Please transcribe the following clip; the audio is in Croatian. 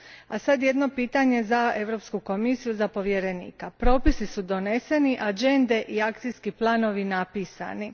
A sad jedno pitanje za Europsku komisiju, za povjerenika propisi su doneseni, agende i akcijski planovi napisani.